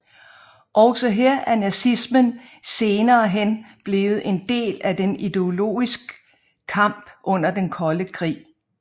Også her er nazismen senerehen blevet en del af den ideologisk kamp under den kolde krig